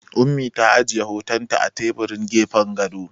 Ummi ta ajiye hotonta a teburin gefen gado.